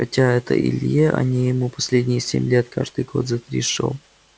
хотя это илье а не ему последние семь лет каждый год за три шёл